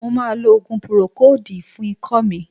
Mo ma lo òògùn púrókòòdù fún ikọ́ mi.